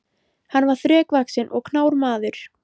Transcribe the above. Hann var þrekvaxinn og knár maður.